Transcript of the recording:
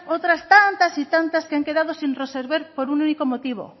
otras tantas y tantas que han quedado sin resolver por un único motivo